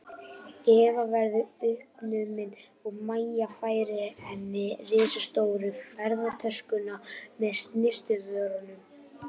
Eva verðu uppnumin og Mæja færir henni risastóru ferðatöskuna með snyrtivörunum.